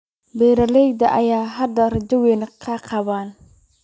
Beeralayda ayaa hadda rajo weyn ka qaba.